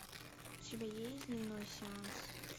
у тебя есть дневной сеанс